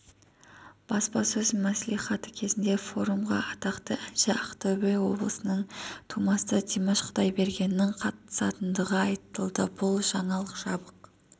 баспасөз мәслихаты кезінде форумға атақты әнші ақтөбе облысының тумасы димаш құдайбергенннің қатысатындығы айтылды бұл жаңалық жабық